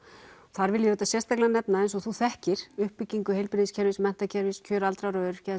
þar vil ég sérstaklega nefna eins og þú þekkir uppbyggingu heilbrigðis kerfis menntakerfis kjör aldraðara og öryrkja